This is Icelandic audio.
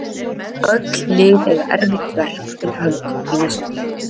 Öll lið eiga erfitt verk fyrir höndum í næstu viku.